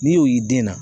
N'i y'o yi